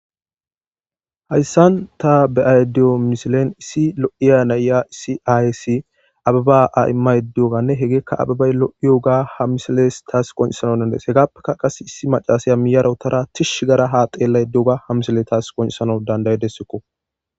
Hayssan ta beayda diyo missilen issi loiya na'iya issi ayeyisi abeba imayda diyogane heggeyka abebay loiyoga tas qoncisanaw dandaides heggapeka issi maccashiy uttada tishi ottada ha xellayda diyoba ha missiley tawu qoncisanawu dandidessiko